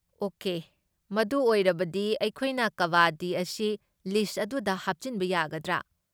Okay, ꯃꯗꯨ ꯑꯣꯏꯔꯕꯗꯤ, ꯑꯩꯈꯣꯏꯅ ꯀꯕꯥꯗꯤ ꯑꯁꯤ ꯂꯤꯁꯠ ꯑꯗꯨꯗ ꯍꯥꯞꯆꯤꯟꯕ ꯌꯥꯒꯗ꯭ꯔꯥ?